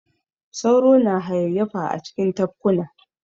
Sauro na hayayyafa a cikin tafkuna.